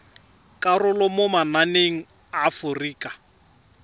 karolo mo mananeng a aforika